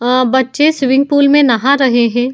अ बच्चें swimming pool में नहा रहे है।